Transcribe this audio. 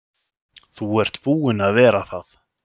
Þú ert búin að vera það.